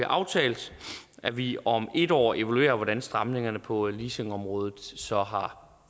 aftalt at vi om et år evaluerer hvordan stramningerne på leasingområdet så har